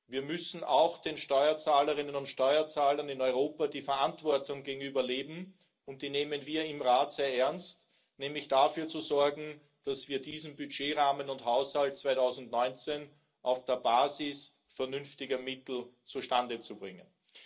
Wir müssen auch gegenüber den Steuerzahlerinnen und Steuerzahlern in Europa die Verantwortung leben, und die nehmen wir im Rat sehr ernst, nämlich dafür zu sorgen, dass wir diesen Budgetrahmen und Haushalt 2019 auf der Basis vernünftiger Mittel zustande bringen.